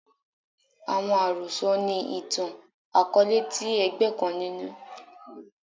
Awọn arosọ ni itan-akọọlẹ ti ẹgbẹ kan ninu